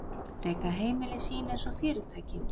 Reka heimili sín einsog fyrirtæki.